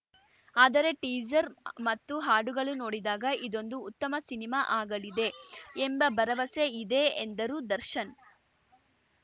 ಆದರೆ ಟೀಸರ್‌ ಮತ್ತು ಹಾಡುಗಳು ನೋಡಿದಾಗ ಇದೊಂದು ಉತ್ತಮ ಸಿನಿಮಾ ಆಗಲಿದೆ ಎಂಬ ಭರವಸೆ ಇದೆ ಎಂದರು ದರ್ಶನ್‌